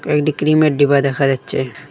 কয়েকটি ক্রিমের ডিবা দেখা যাচ্ছে।